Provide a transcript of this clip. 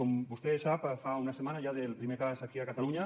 com vostè sap fa una setmana ja del primer cas aquí a catalunya